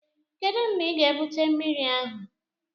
Kedu mgbe ị ga-ebute mmiri ahụ?